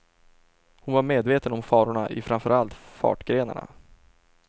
Hon var medveten om farorna i framför allt fartgrenarna.